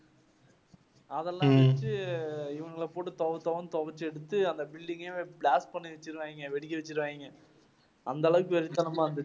அதெல்லாம் வந்துட்டு இவங்களை போட்டு தொவை, தொவை தொவைச்சு எடுத்துட்டு அந்த building ஐ blast பண்ணி வெச்சிருவாங்க. வெடிக்க வெச்சிருவாங்க. அந்த அளவுக்கு வெறித்தனமா இருந்துச்சு.